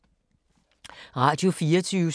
Radio24syv